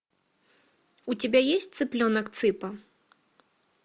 у тебя есть цыпленок цыпа